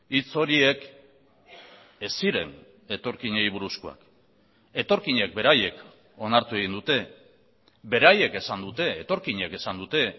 hitz horiek ez ziren etorkinei buruzkoak etorkinek beraiek onartu egin dute beraiek esan dute etorkinek esan dute